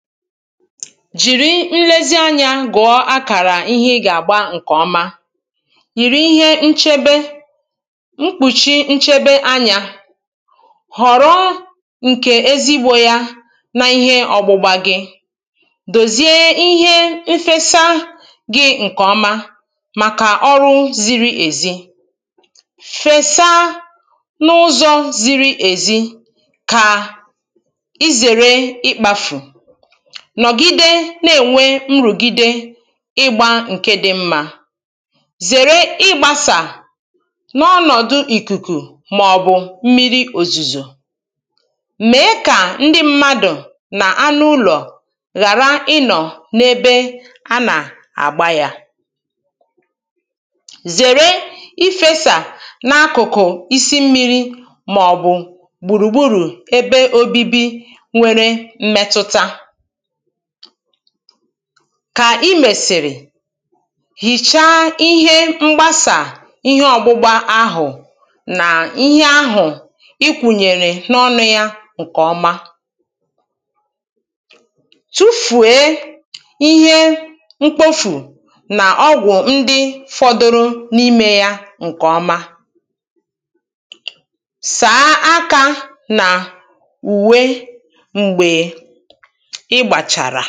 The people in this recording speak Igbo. Jìri nlezi anyā gụ̀ọ akàrà ihe ịgà-àgba ǹkè ọma. yìri ihe nchebe, mkpùchi nchebe anyā. họ̀rọ ǹkè ezigbō ya na ihe ọgbụgba gị. dòzie ihe nfesa gị̄ ǹkè ọma màkà ọrụ ziri èzi. fèsa n’ụzọ̄ ziri èzi kà ị zère ịkpāfù. nọ̀gide na-ènwe nrùgìde ịgbā ǹke dị̄ mmā. zère ịgbāsà n’ọnọ̀dụ̀ ìkùkù màọ̀bụ̀ mmiri òzùzò. mèe kà ndị mmadụ̀ nà anụụlọ̀ ghàra ịnọ̀ n’ebe anà-àgba yā. zère ifēsà n’akụ̀kụ̀ isi mmīrī màọ̀bụ̀ gbùrùgbùrù ebe òbibi nwere mmetụta. kà ị mèsìrì hìchaa ihe mgbasà ihe ọgbụgba ahụ̀ nà ihe ahụ̀ ị kwụ̀nyèrè n’ọnụ̄ ya ǹkè ọma. tụfùe ihe mkpofù nà ọgwụ̀ ndị fọdụrụ n’imē ya ǹkè ọma. sàa akā nà ùwe m̀gbè ị gbàchàrà.